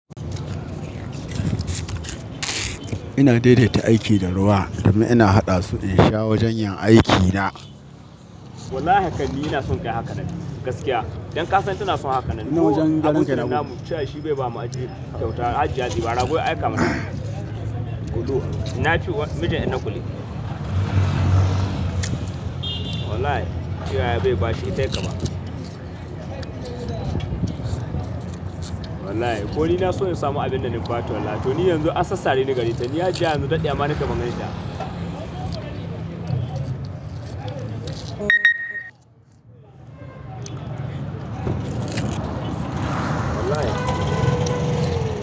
Ina daidaita aiki da ruwa domin ina haɗa su in sha wajen yin aikina. Wallahi hakani ina son kai hakanan gaskiya. Don ka san tana son hakanan. Ina wajen da daren nan. Abun da na damu cewa shi bai bamu aji sau tar aji a jibi. Rago ya aika mana. Kuluwa. Na cewa mijin ina kule. Wallahi, cewa yai bai ba shi ita kaba. Wallahi, ko ni na so in samu abin da na bata wallahi. To ni yanzu asassa ne daga ita. Ni hajiya yanzu dadewa nikeyi ban gani ta.